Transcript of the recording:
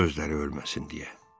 Özləri ölməsin deyə.